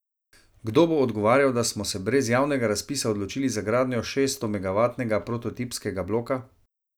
Kdo bo odgovarjal, da smo se brez javnega razpisa odločili za gradnjo šeststomegavatnega prototipskega bloka?